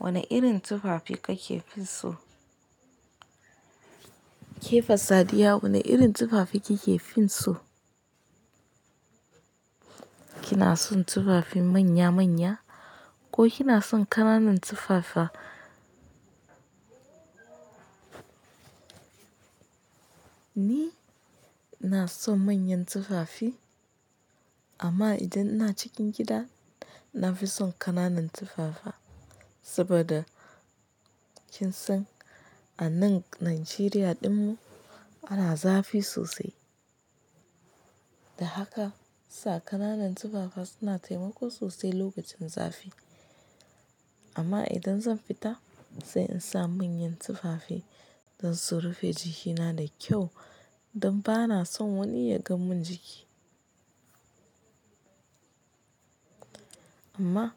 Wane irin tufafi kake fin so? Kefa Sadiya wane irin tufafi kike fin so? Kina son tufafin manya manya ko kina son ƙananan tufafa? Ni ina son manyan tufafi amma idan ina cikin gida nafi son ƙananan tufafa saboda kin san anan Najeriya ɗinmu ana zafi sosai. Da haka sa ƙananan tufafa suna taimako sosai lokacin zafi. Amma idan zan fita sai in sa manyan tufafi don su rufe jikina da kyau don ba na son wani ya gan mun jiki. Amma